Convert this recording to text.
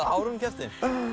ár hún keppti